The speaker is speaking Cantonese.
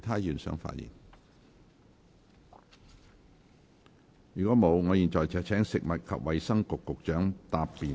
如果沒有，我現在請食物及衞生局局長答辯。